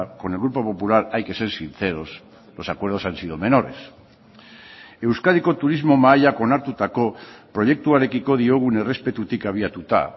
con el grupo popular hay que ser sinceros los acuerdos han sido menores euskadiko turismo mahaiak onartutako proiektuarekiko diogun errespetutik abiatuta